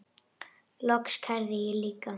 Loks kærði ég líka.